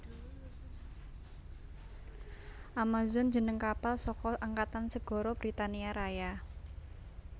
Amazon jeneng kapal saka Angkatan Segara Britania Raya